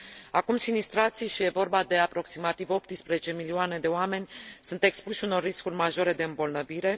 Acum sinistrații și e vorba de aproximativ 18 milioane de oameni sunt expuși unor riscuri majore de îmbolnăvire.